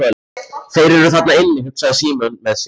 Þeir eru þarna inni, hugsaði Símon með sér.